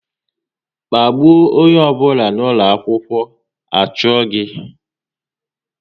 Kpagbuo onye ọ bụla n'ụlọ akwụkwọ, a chụọ gị!